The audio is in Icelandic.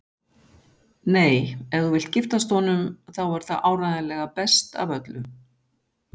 Nei, ef þú vilt giftast honum þá er það áreiðanlega best af öllu.